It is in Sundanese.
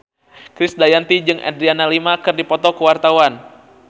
Krisdayanti jeung Adriana Lima keur dipoto ku wartawan